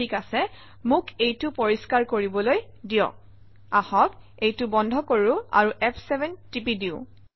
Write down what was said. ঠিক আছে মোক এইটো পৰিষ্কাৰ কৰিবলৈ দিয়ক আহক এইটো বন্ধ কৰোঁ আৰু ফ7 টিপি দিওঁ